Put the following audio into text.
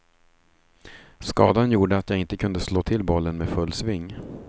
Skadan gjorde att jag inte kunde slå till bollen med full sving.